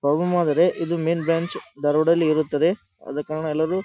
problem ಆದರೆ ಇದು main branch Dharwad ದಲ್ಲೇ ಇರುತ್ತದೆ ಆದ ಕಾರಣ ಎಲ್ಲರೂ --